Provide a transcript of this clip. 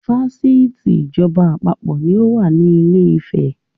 Fásitì ìjọba àpapọ̀ ni ó wà ní ilé ìfẹ́.